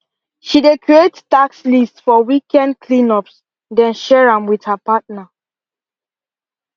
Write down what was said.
she dey create task lists for weekend cleanups then share am with her partner